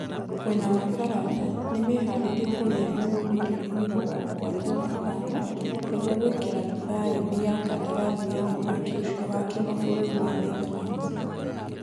Mwena wa Faranja nĩ nĩmeharĩirie kũrĩha yurũ mirioni mĩrongo mũgwanja na ithano nĩguo gwĩkĩra thaĩni ya kandarathi ya mũthaki ũcio wa kĩmabũrũri wa Netherlands.